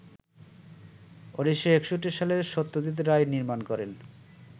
১৯৬১ সালে সত্যজিৎ রায় নির্মাণ করেন